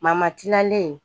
Mama tilalen